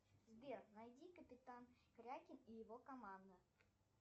сбер найди капитан крякен и его команда